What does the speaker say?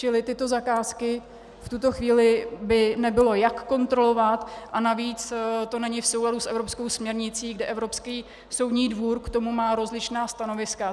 Čili tyto zakázky v tuto chvíli by nebylo jak kontrolovat a navíc to není v souladu s evropskou směrnicí, kde Evropský soudní dvůr k tomu má rozličná stanoviska.